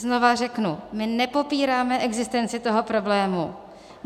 Znovu řeknu, my nepopíráme existenci toho problému.